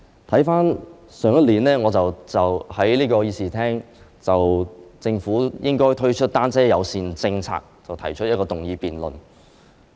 回看去年，我在這個議事廳就政府應該推出單車友善政策這項議題，提出議案辯論。